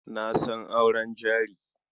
Na san auren jari.